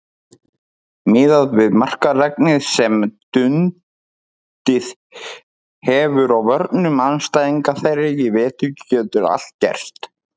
Miðað við markaregnið sem dunið hefur á vörnum andstæðinga þeirra í vetur getur allt gerst.